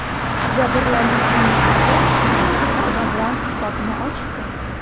Jabrlanuvchining o‘zi aniq zarba bilan hisobni ochdi.